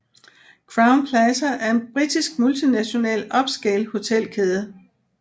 Crowne Plaza er en britisk multinational upscale hotelkæde